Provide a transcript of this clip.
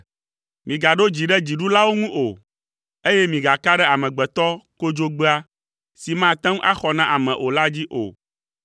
Migaɖo dzi ɖe dziɖulawo ŋu o, eye migaka ɖe amegbetɔ kodzogbea, si mate ŋu axɔ na ame o la dzi o.